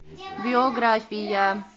биография